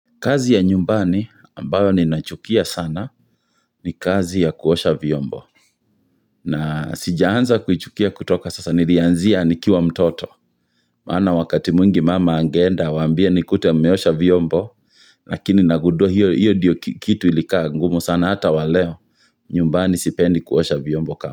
Kazi ya nyumbani ambayo ninachukia sana ni kazi ya kuosha vyombo. Na sijaanza kuichukia kutoka sasa nirianzia nikiwa mtoto. Maana wakati mwingi mama angeenda awaambie nikute mmeosha vyombo. Lakini nagundua hiyo ndiyo kitu ilikaa ngumu sana hata wa leo. Nyumbani sipendi kuosha vyombo kama.